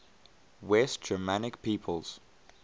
west germanic peoples